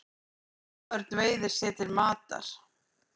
Haförn veiðir sér til matar.